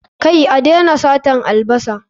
Kai, a daina satar albasa